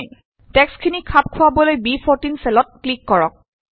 টেক্সটখিনি খাপ খোৱাবলৈ ব14 চেলত ক্লিক কৰক